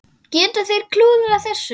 Geta þeir klúðrað þessu?